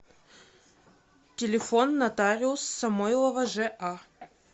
телефон нотариус самойлова жа